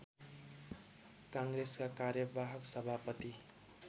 काङ्ग्रेसका कार्यवाहक सभापति